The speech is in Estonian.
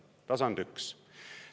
See on tasand üks.